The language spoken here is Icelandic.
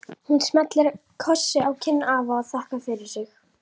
Hún smellir kossi á kinn afa og þakkar fyrir sig.